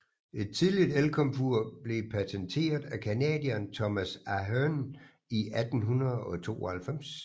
Et tidligt elkomfur blev patenteret af canadieren Thomas Ahearn i 1892